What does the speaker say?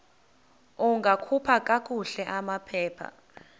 ungakhupha kakuhle amaphepha